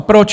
A proč?